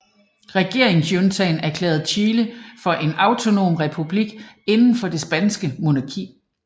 Regeringsjuntaen erklærede Chile for en autonom republik inden for det spanske monarki